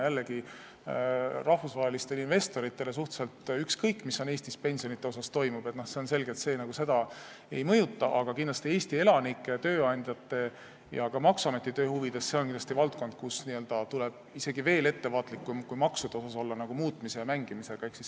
Jällegi, rahvusvahelistele investoritele on suhteliselt ükskõik, mis Eestis pensionidega toimub – see on selge, et neid see ei mõjuta –, aga kindlasti on see Eesti elanike ja tööandjate jaoks ning ka maksuameti töö huvides selline valdkond, kus tuleb olla isegi veel ettevaatlikum kui maksude muutmisel ja nendega mängimisel.